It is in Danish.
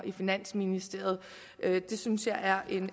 i finansministeriet det synes jeg er